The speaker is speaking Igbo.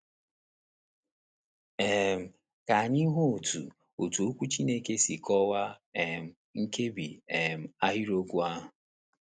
um Ka anyị hụ otú otú Okwu Chineke si kọwaa um nkebi um ahịrịokwu ahụ.